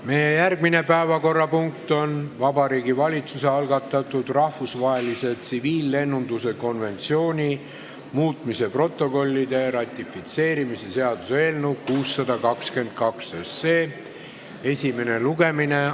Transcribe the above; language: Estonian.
Meie järgmine päevakorrapunkt on Vabariigi Valitsuse algatatud rahvusvahelise tsiviillennunduse konventsiooni muutmise protokollide ratifitseerimise seaduse eelnõu 622 esimene lugemine.